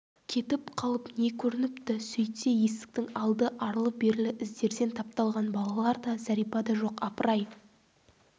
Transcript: кетіп қалып не көрініпті сөйтсе есіктің алды арлы-берлі іздерден тапталған балалар да зәрипа да жоқ апыр-ай